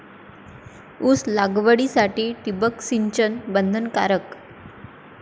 ऊस लागवडीसाठी ठिबक सिंचन बंधनकारक!